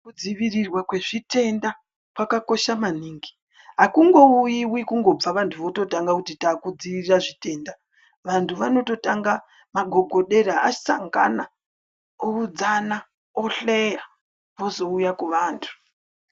Kudzivirirwa kwezvitenda kwakakosha maningi akungouyiwi kungobva vantu vototanga kuti takudzivirira zvitenda vantu vanototanga magogodera vasangana oudzana ohleya vozouya kuvantu.